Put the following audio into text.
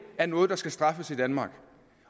er noget der skal straffes i danmark